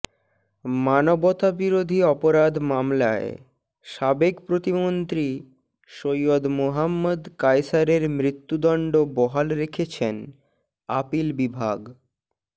মানবতাবিরোধী অপরাধ মামলায় সাবেক প্রতিমন্ত্রী সৈয়দ মোহাম্মদ কায়সারের মৃত্যুদণ্ড বহাল রেখেছেন আপিল বিভাগ